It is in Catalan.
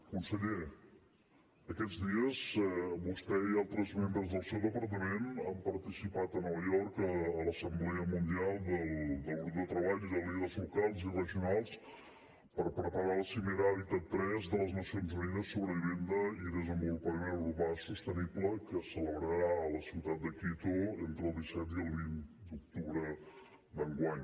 conseller aquests dies vostè i altres membres del seu departament han participat a nova york a l’assemblea mundial del grup de treball de líders locals i regionals per preparar la cimera habitat iii de les nacions unides sobre vivenda i desenvolupament urbà sostenible que es celebrarà a la ciutat de quito entre el disset i el vint d’octubre d’enguany